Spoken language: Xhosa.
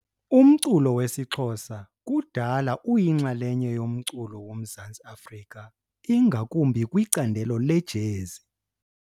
Umculo wesiXhosa kudala uyinxalenye yomculo woMzantsi Afrika ingakumbi kwicandelo lejezi .